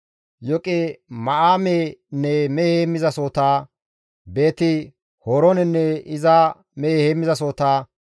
Yoqima7aamenne mehe heemmizasohota, Beeti-Horoonenne iza mehe heemmizasohota,